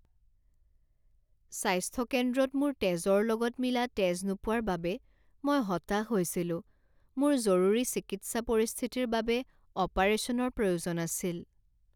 স্বাস্থ্য কেন্দ্ৰত মোৰ তেজৰ লগত মিলা তেজ নোপোৱাৰ বাবে মই হতাশ হৈছিলো। মোৰ জৰুৰী চিকিৎসা পৰিস্থিতিৰ বাবে অপাৰেশ্যনৰ প্ৰয়োজন আছিল।